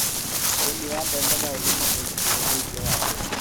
ũrĩmi wa mbembe no ũtũme ũgitĩri wa irio wagĩte